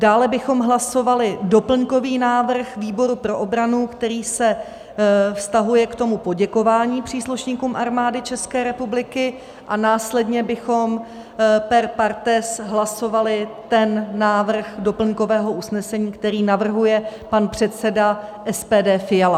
Dále bychom hlasovali doplňkový návrh výboru pro obranu, který se vztahuje k tomu poděkování příslušníkům Armády České republiky, a následně bychom per partes hlasovali ten návrh doplňkového usnesení, který navrhuje pan předseda SPD Fiala.